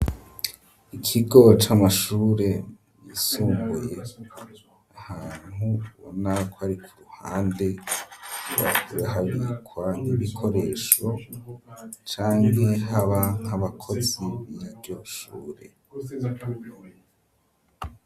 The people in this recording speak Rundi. ikigo c'amashure yisumbuye ahantu Ubona ko ari ku ruhande yahabikwa ibikoresho canKE haba nk'abakozi biryo shure.